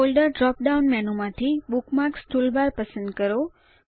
folder drop down menu માંથી bookmarks toolbar પસંદ કરો